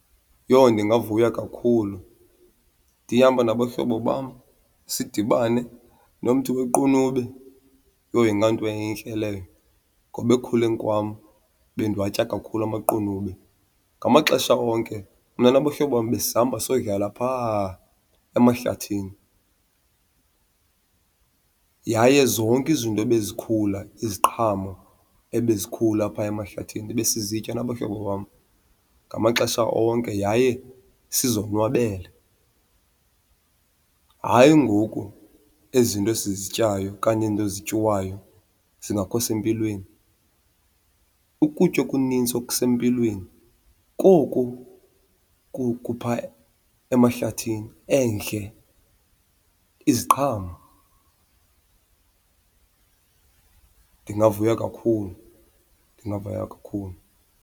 Yho ndingavuya kakhulu. Ndihamba nabahlobo bam sidibane nomthi wequnube, yho ingayinto entle leyo ngoba ekukhuleni kwam bendiwatya kakhulu amaqunube. Ngamaxesha onke mna nabahlobo bam besihamba siyodlala phaa emahlathini yaye zonke izinto ebezikhula, iziqhamo ebezikhula phaa emahlathini besizitya nabahlobo bam ngamaxesha onke yaye sizonwabela. Hayi ngoku ezi nto sizityayo okanye ezi nto zityiwayo zingakho sempilweni. Ukutya okunintsi okusempilweni koku kupha emahlathini endle, iziqhamo. Ndingavuya kakhulu, ndingavuya kakhulu.